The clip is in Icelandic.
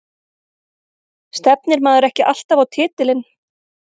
Stefnir maður ekki alltaf á titilinn?